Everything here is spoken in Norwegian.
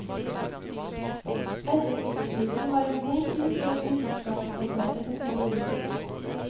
Etterkrigstiden var en god tid for den vitenskapsbaserte teknologi.